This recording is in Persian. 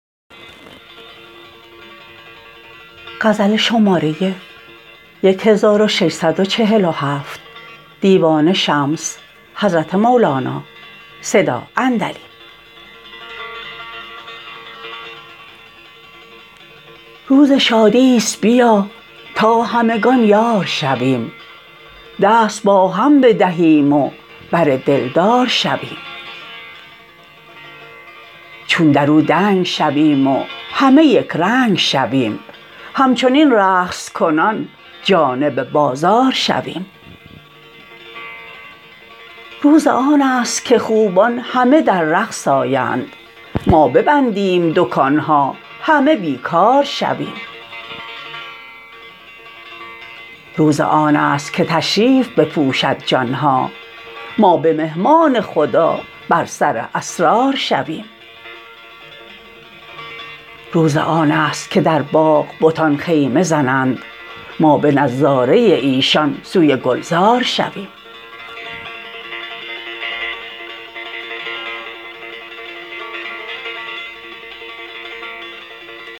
روز شادی است بیا تا همگان یار شویم دست با هم بدهیم و بر دلدار شویم چون در او دنگ شویم و همه یک رنگ شویم همچنین رقص کنان جانب بازار شویم روز آن است که خوبان همه در رقص آیند ما ببندیم دکان ها همه بی کار شویم روز آن است که تشریف بپوشد جان ها ما به مهمان خدا بر سر اسرار شویم روز آن است که در باغ بتان خیمه زنند ما به نظاره ایشان سوی گلزار شویم